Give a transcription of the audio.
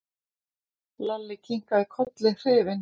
Lalli kinkaði kolli hrifinn.